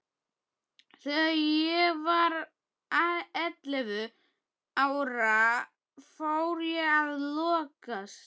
Þegar ég var ellefu ára fór ég að lokast.